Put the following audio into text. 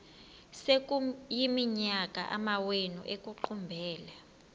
sekuyiminyaka amawenu ekuqumbele